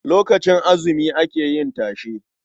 Lokacin azumi ake yin tashe.